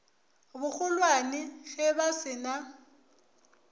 bogolwane ge ba se na